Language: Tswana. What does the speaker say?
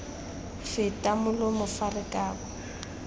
feta molomo fa re kabo